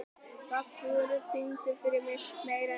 Svanþrúður, syngdu fyrir mig „Meira En Nóg“.